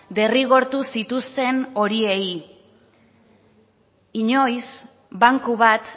derrigortu zituzten horiei inoiz banku bat